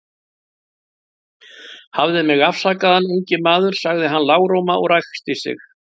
Hafðu mig afsakaðan, ungi maður, sagði hann lágróma og ræskti sig.